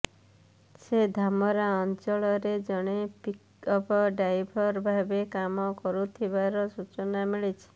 ସେ ଧାମରା ଅଞ୍ଚଳରେ ଜଣେ ପିକ୍ଅପ୍ ଡ୍ରାଇଭର ଭାବେ କାମ କରୁଥିବାର ସୂଚନା ମିଳିଛି